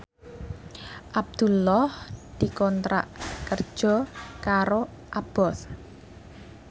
Abdullah dikontrak kerja karo Abboth